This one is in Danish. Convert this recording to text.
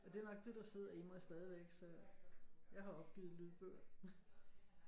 Og det er nok det der sidder i mig stadigvæk så jeg har opgivet lydbøger